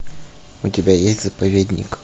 у тебя есть заповедник